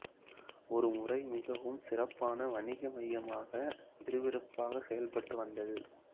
ஒரு முறை மிகவும் சிறப்பான வணிக மையமாக விறுவிறுப்பாக செயல்பட்டு வந்தது